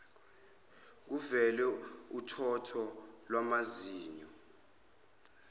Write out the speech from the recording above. kuvele uthotho lwamazinyo